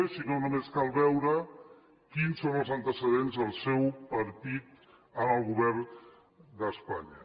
i si no només cal veure quins són els antecedents del seu partit en el govern d’espanya